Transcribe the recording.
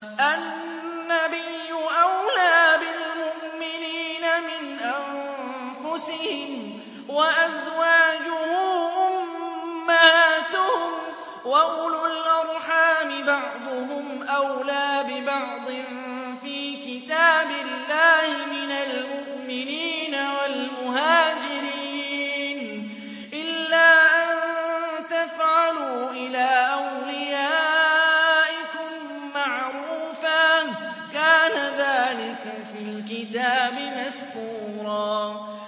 النَّبِيُّ أَوْلَىٰ بِالْمُؤْمِنِينَ مِنْ أَنفُسِهِمْ ۖ وَأَزْوَاجُهُ أُمَّهَاتُهُمْ ۗ وَأُولُو الْأَرْحَامِ بَعْضُهُمْ أَوْلَىٰ بِبَعْضٍ فِي كِتَابِ اللَّهِ مِنَ الْمُؤْمِنِينَ وَالْمُهَاجِرِينَ إِلَّا أَن تَفْعَلُوا إِلَىٰ أَوْلِيَائِكُم مَّعْرُوفًا ۚ كَانَ ذَٰلِكَ فِي الْكِتَابِ مَسْطُورًا